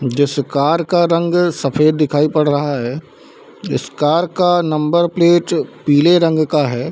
जो इस कार का रंग है वो सफ़ेद दिखाई पड़ रहा है इस कार का नंबर प्लेट पीले रंग का है।